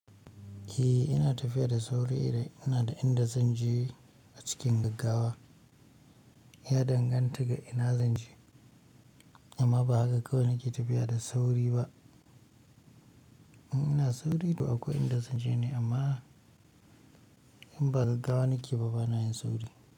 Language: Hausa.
Eh ina tafiya da sauri idan ina da inda zan je a cikin gaggawa. Ya danganta ga ina zan je, amma ba haka kawai nake tafiya da sauri ba. In ina sauri, to akwai inda zan je ne amma in ba gaggawa nake, ba bana yin sauri.